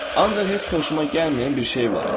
Ancaq heç xoşuma gəlməyən bir şey var idi.